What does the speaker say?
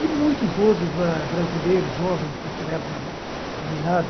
E muitos outros bra brasileiros jovens, naquela época meninada,